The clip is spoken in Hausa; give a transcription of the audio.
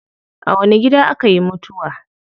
A wani gida akayi mutuwa?